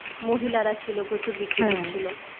মহিলারা ছিল. প্রচুর বিক্রি করছিল.